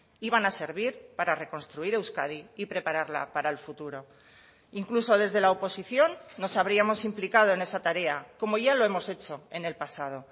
iban a servir para reconstruir euskadi y prepararla para el futuro incluso desde la oposición nos habríamos implicado en esa tarea como ya lo hemos hecho en el pasado